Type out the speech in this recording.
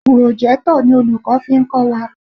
Pùròjẹ́tọ̀ ni olùkọ́ fi ń kọ́ wa.